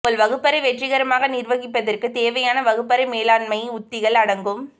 உங்கள் வகுப்பறை வெற்றிகரமாக நிர்வகிப்பதற்கு தேவையான வகுப்பறை மேலாண்மை உத்திகள் அடங்கும்